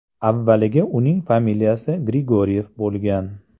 Avvaliga uning familiyasi Grigoryev bo‘lgan.